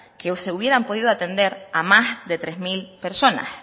que hoy se hubieran podido atender a más de tres mil personas